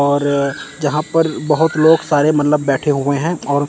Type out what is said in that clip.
और जहां पर बोहोत लोग सारे मतलब बैठे हुए हैं और--